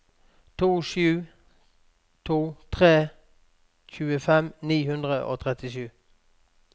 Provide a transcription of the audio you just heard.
to sju to tre tjuefem ni hundre og trettisju